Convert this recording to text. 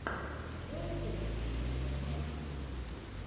виола дэвис фильмец открой